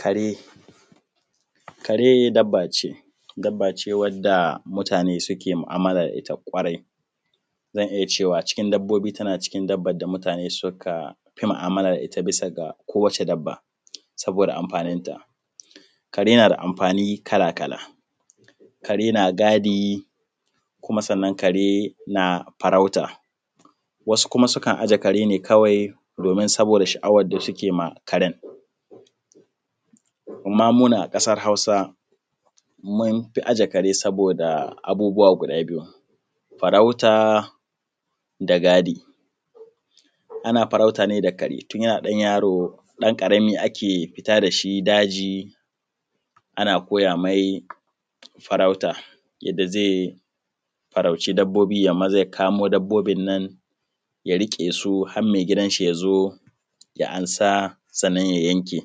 Kare. Kare dabba ce, dabba ce wadda mutane ke mu’amala da ita kwarai, zan iya cewa cikin dabbobi tana cikin dabbobin da mutane suka fi mu’amala da ita bisa ga kowane dabba saboda amfani da ita kare na da amfani kala-kala. Kare na gadi kuma sannan kare na farauta, wasu kuma sukan ajiye kare ne kawai domin saboda sha’awan da suke ma Karen, amma mu nan a ƙasan Hausa mun fi ajiye kare saboda abubuwa guda biyu, farauta da gadi, ana farauta ne da kare tun yana ɗanyaro, ɗanƙarami ake fita da shi daji ana koya me farauta da zai farauci dabbobi, ya yi maza ya kamo dabbobin nan ya riƙe su har ke gidan shi ya zo ya ansa, sannan ya yanke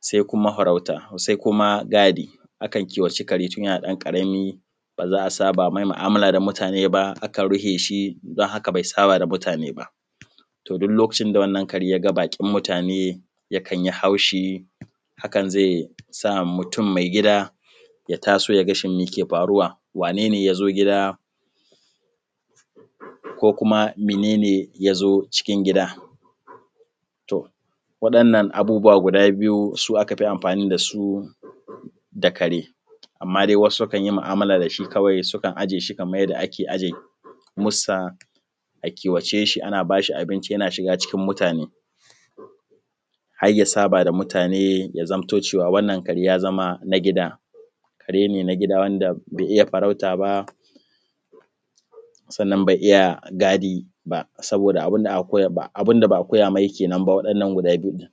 se kuma gadi akan ciwa ce. Kare tun yana ɗan ƙarami ba za a saba me mu’amala da mutane ba, akan rufe shi don haka bai saba da mutane ba. To, duk lokacin da ya ga baƙin mutane yakan yi haushi hakan zai sa mutun mai gida ya taso ya ga shin meke faruwa, wane ne ya zo gida ko kuma mene ne ya zo cikin gidan. To, waɗannan abubuwa guda biyu su aka fi amfani da su da kare, amma dai wasu sukan yi ma’amala da shi kwai, sukan ijiye shi kaman yanda ake ijiye mussa a kiwace shi, a ba shi abinci yana shiga cikin mutane har ya saba da mutane ya zamto cewa wannan kare ya zama na gida kare nagida wanda bai iya farauta ba, sannan bai iya gadi ba saboda abin da ba a koya me kenan ba, wa’yannan guda biyun.